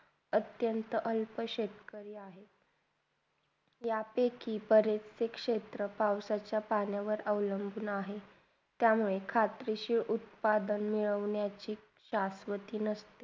अत्यंत अल्फा शेतकरी आहेत. त्यापेकी प्रातिक क्षेत्र पावसाच्या पाण्यावर अवलंबून आहे. त्यामुळे कृषीशी उत्पादन्याचे बनवण्याची सहसमती नसते.